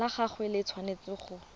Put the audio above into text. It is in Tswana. la gagwe le tshwanetse go